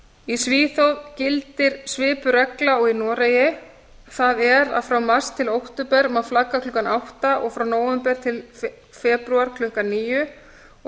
í svíþjóð gildir svipuð regla og í noregi það er að frá mars til október má flagga klukkan átta og frá nóvember til febrúar klukkan níu og